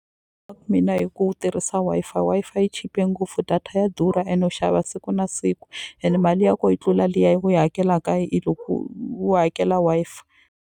Mina hi ku tirhisa Wi-Fi, Wi-Fi yi chipe ngopfu data ya durha ene u xava siku na siku ene mali ya ko yi tlula liya ya ku yi hakelaka hi loko u hakela Wi-Fi.